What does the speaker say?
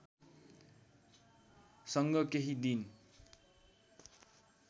सँग केही दिन